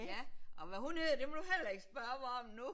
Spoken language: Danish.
Ja og hvad hun hed det må du heller ikke spørge mig om nu